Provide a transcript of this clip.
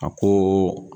A ko